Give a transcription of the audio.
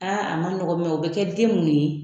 Aa a man ɲɔgɔn o bɛ kɛ den mun ye